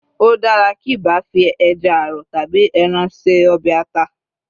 o dara kiba fi eja arọ tabi ẹran se ọbè ata